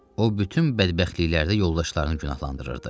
O bütün bədbəxtliklərdə yoldaşlarını günahlandırırdı.